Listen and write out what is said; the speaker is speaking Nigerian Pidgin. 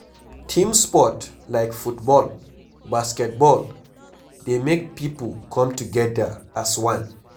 Team sport like football, basket ball dey make pipo come together as one